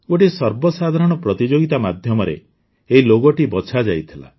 ଗୋଟିଏ ସର୍ବସାଧାରଣ ପ୍ରତିଯୋଗିତା ମାଧ୍ୟମରେ ଏହି ଲୋଗୋଟି ବଛାଯାଇଥିଲା